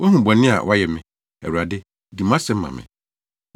Woahu bɔne a wɔayɛ me, Awurade. Di mʼasɛm ma me!